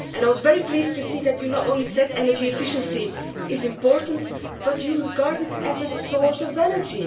I was very pleased to see that you said not only that energy efficiency is important, but that you regard it as a source of energy.